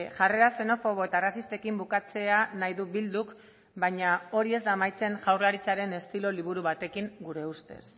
jarrera xenofobo eta arrazistekin bukatzea nahi du bilduk baina hori ez da amaitzen jaurlaritzaren estilo liburu batekin gure ustez